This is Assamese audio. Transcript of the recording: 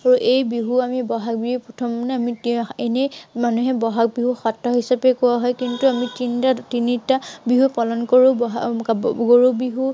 আৰু এই বিহু আমি বহাগৰ প্ৰথম দিনা আমি এনেই মানুহে বহাগ বিহু কোৱা হয়। কিন্তু আমি তিনিটা বিহু পালন কৰো। বহাগ গৰু বিহু,